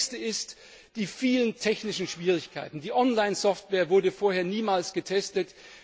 Das nächste sind die vielen technischen Schwierigkeiten. Die Online Software wurde vorher niemals getestet.